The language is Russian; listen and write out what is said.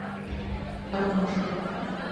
ромашково